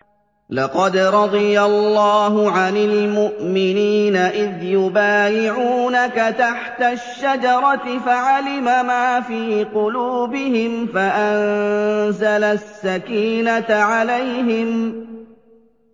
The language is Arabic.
۞ لَّقَدْ رَضِيَ اللَّهُ عَنِ الْمُؤْمِنِينَ إِذْ يُبَايِعُونَكَ تَحْتَ الشَّجَرَةِ فَعَلِمَ مَا فِي قُلُوبِهِمْ